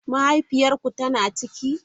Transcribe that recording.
Mahaifiyar ku tana ciki?